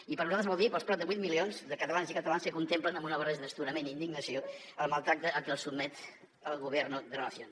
i per nosaltres vol dir pels prop de vuit milions de catalans i catalanes que contemplen amb una barreja d’astorament i indignació el maltractament a què els sotmet el gobierno de la nación